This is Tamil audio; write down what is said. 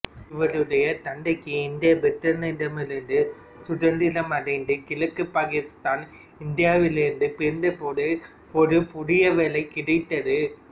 இவருடைய தந்தைக்கு இந்தியா பிரிட்டனிடமிருந்து சுதந்திரமடைந்து கிழக்கு பாகிஸ்தான் இந்தியாவிலிருந்து பிரிந்தபோது ஒரு புதிய வேலை கிடைத்தது